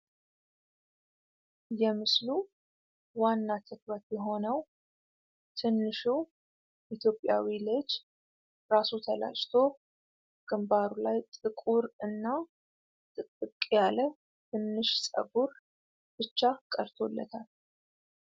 የምስሉ ዋና ትኩረት የሆነው ትንሹ ኢትዮጵያዊ ልጅ ራሱ ተላጭቶ ግንባሩ ላይ ጥቁር እና ጥቅጥቅ ያለ ትንሽ ፀጉር ብቻ ቀርቶለታል ፡፡